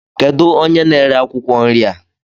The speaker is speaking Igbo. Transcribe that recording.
Kedụ onye n'ere akwụkwọ nri a?